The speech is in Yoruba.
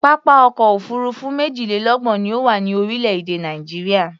Pápá ọkọ̀ òfuurufú méjìlélọ́gbọ̀n ni ó wà ní orílẹ̀-èdè Nàìjíríà.